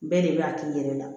Bɛɛ de b'a k'i yɛrɛ la